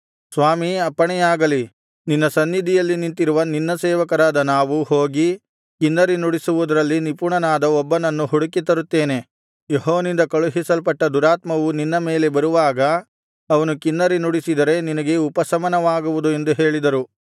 ಸ್ವಾಮೀ ಅಪ್ಪಣೆಯಾಗಲಿ ನಿನ್ನ ಸನ್ನಿಧಿಯಲ್ಲಿ ನಿಂತಿರುವ ನಿನ್ನ ಸೇವಕರಾದ ನಾವು ಹೋಗಿ ಕಿನ್ನರಿ ನುಡಿಸುವುದರಲ್ಲಿ ನಿಪುಣನಾದ ಒಬ್ಬನನ್ನು ಹುಡುಕಿ ತರುತ್ತೇನೆ ಯೆಹೋವನಿಂದ ಕಳುಹಿಸಲ್ಪಟ್ಟ ದುರಾತ್ಮವು ನಿನ್ನ ಮೇಲೆ ಬರುವಾಗ ಅವನು ಕಿನ್ನರಿ ನುಡಿಸಿದರೆ ನಿನಗೆ ಉಪಶಮನವಾಗುವುದು ಎಂದು ಹೇಳಿದರು